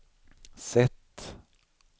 sätt